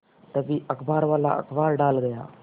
तभी अखबारवाला अखबार डाल गया